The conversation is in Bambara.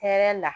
Hɛrɛ la